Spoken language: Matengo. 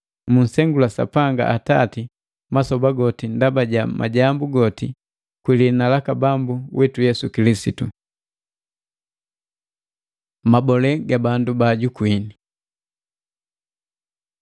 Munsengula Sapanga Atati masoba goti ndaba ja majambu goti, kwi liina laka Bambu witu Yesu Kilisitu. Mabole ga bandu bajukuini